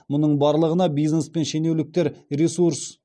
мұның барлығына бизнес пен шенеуніктер ресурс